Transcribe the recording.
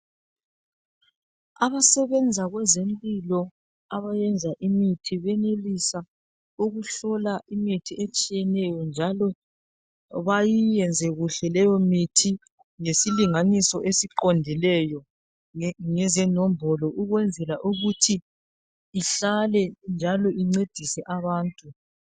Abasebenza kwezempilo abayenza imithi benelisa ukuhlola imithi etshiyeneyo njalo bayiyenze kuhle leyo mithi ngesilinganiso esiqondileyo ngezenombolo ukwenzela ukuthi ihlale njalo incedise abantu.